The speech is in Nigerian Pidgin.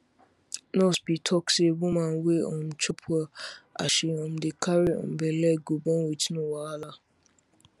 nurse be talk say woman wey um chop well as she um dey carry um belle go born with no wahala